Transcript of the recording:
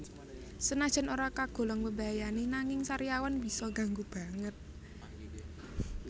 Senajan ora kagolong mbebayani nanging sariawan bisa ngganggu banget